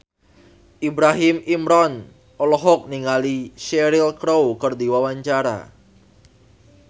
Ibrahim Imran olohok ningali Cheryl Crow keur diwawancara